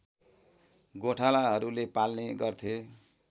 गोठालाहरूले पाल्ने गर्थे